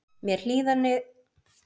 Mér hlýnaði um hjartarætur.